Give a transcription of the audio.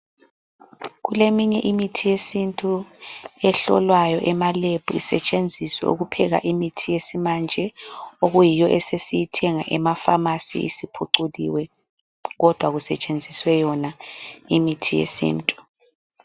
Kuleminye imithi yesintu ehlolwayo emalab isetshenziswe ukupheka imithi yesimanje eyiyo esiyithenga emapharmacy isiphuculiwe kodwa kusetshenziswe yona imithi yesintu.